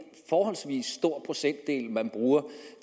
forholdsvis stor procentdel man bruger